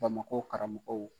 Bamakɔ karamɔgɔw